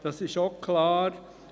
Dies ist auch klar.